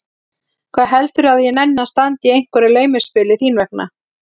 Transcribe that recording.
Hvað heldurðu að ég nenni að standa í einhverju laumuspili þín vegna?